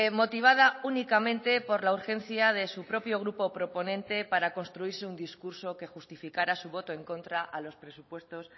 motivada únicamente por la urgencia de su propio grupo proponente para construirse un discurso que justificara su voto en contra a los presupuestos